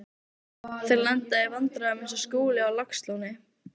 Þeir lenda í vandræðum eins og Skúli á Laxalóni.